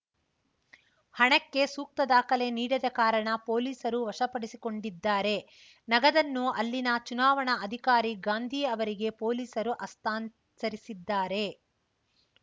ಹಣಕ್ಕೆ ಸೂಕ್ತ ದಾಖಲೆ ನೀಡದ ಕಾರಣ ಪೊಲೀಸರು ವಶಪಡಿಸಿಕೊಂಡಿದ್ದಾರೆ ನಗದನ್ನು ಅಲ್ಲಿನ ಚುನಾವಣಾ ಅಧಿಕಾರಿ ಗಾಂಧಿ ಅವರಿಗೆ ಪೊಲೀಸರು ಹಸ್ತಾಂತರಿಸಿದ್ದಾರೆ